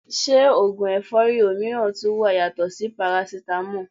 Se ogun efori omiran tun wa yato si Parasitamo?